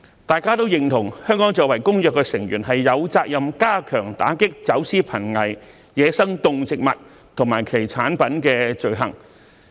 大家均認同，香港作為《公約》成員，有責任加強打擊走私瀕危野生動植物及其產品的罪行。